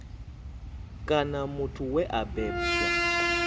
kana muthu we a bebwa